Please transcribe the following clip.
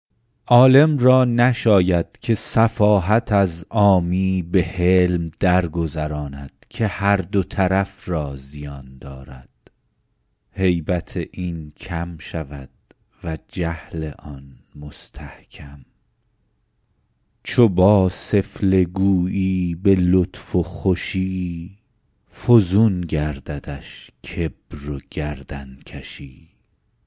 عالم را نشاید که سفاهت از عامی به حلم درگذراند که هر دو طرف را زیان دارد هیبت این کم شود و جهل آن مستحکم چو با سفله گویی به لطف و خوشی فزون گرددش کبر و گردنکشی